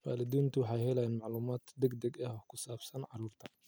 Waalidiintu waxay helaan macluumaad degdeg ah oo ku saabsan carruurta.